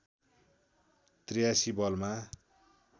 ८३ बलमा